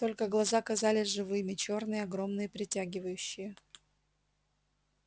только глаза казались живыми чёрные огромные притягивающие